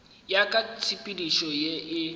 ya ka tshepedišo ye e